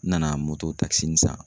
N nana takisinin san